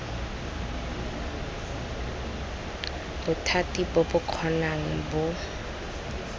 bothati bo bo kgonang bo